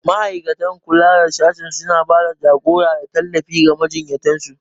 Ma'aikatan kula da sashe suna ba da jagora da tallafi ga majiyyatan su.